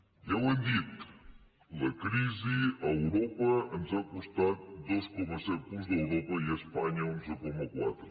ja ho hem dit la crisi a europa ens ha costat dos coma set punts a europa i a espanya onze coma quatre